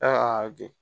bi